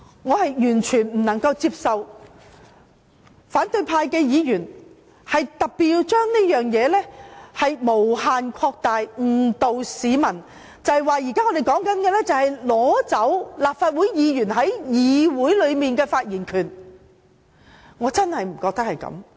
我完全無法接受反對派議員將這件事無限擴大，誤導市民，指我們現在討論的，是要剝奪立法會議員在議會內的發言權，我真的認為不是這樣。